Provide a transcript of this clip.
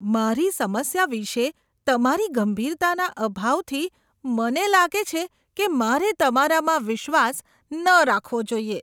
મારી સમસ્યા વિશે તમારી ગંભીરતાના અભાવથી મને લાગે છે કે મારે તમારામાં વિશ્વાસ ન રાખવો જોઈએ.